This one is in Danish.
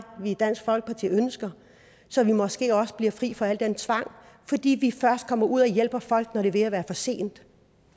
vi i dansk folkeparti ønsker så vi måske også bliver fri for al den tvang fordi vi først kommer ud og hjælper folk når det er ved at være for sent